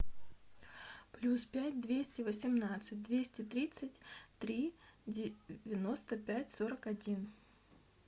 плюс пять двести восемнадцать двести тридцать три девяносто пять сорок один